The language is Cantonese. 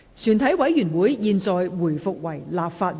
全體委員會現在回復為立法會。